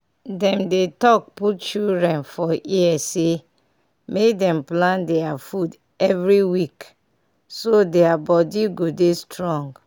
dem dey talk put children for ear say make dem plan deir food every week so deir body go dey strong.